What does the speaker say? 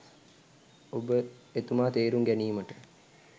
ඔබ එතුමා තේරුම් ගැනීමට